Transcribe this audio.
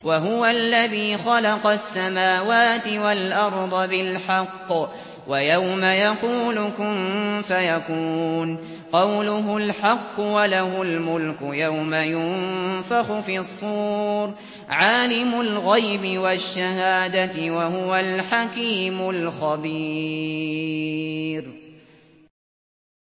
وَهُوَ الَّذِي خَلَقَ السَّمَاوَاتِ وَالْأَرْضَ بِالْحَقِّ ۖ وَيَوْمَ يَقُولُ كُن فَيَكُونُ ۚ قَوْلُهُ الْحَقُّ ۚ وَلَهُ الْمُلْكُ يَوْمَ يُنفَخُ فِي الصُّورِ ۚ عَالِمُ الْغَيْبِ وَالشَّهَادَةِ ۚ وَهُوَ الْحَكِيمُ الْخَبِيرُ